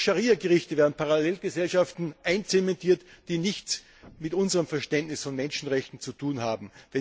Durch Scharia Gerichte werden Parallelgesellschaften einzementiert, die nichts mit unserem Verständnis von Menschenrechten zu tun haben.